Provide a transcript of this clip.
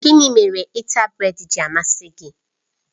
Gịnị mere ịta brèd ji amasị gị?